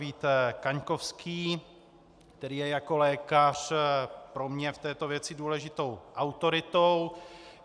Vít Kaňkovský, který je jako lékař pro mě v této věci důležitou autoritou.